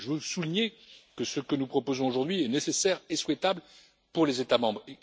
Je veux souligner que ce que nous proposons aujourd'hui est nécessaire et souhaitable pour les États membres.